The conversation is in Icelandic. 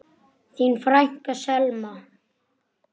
Þín frænka, Selma.